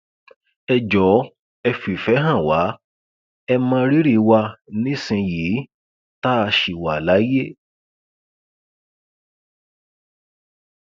ẹ jọọ ẹ fìfẹ hàn wá ẹ mọ rírì wa nísìnyìí tá a ṣì wà láyé